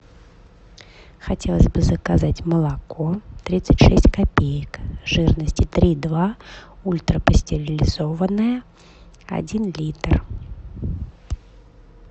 хотелось бы заказать молоко тридцать шесть копеек жирности три и два ультрапастеризованное один литр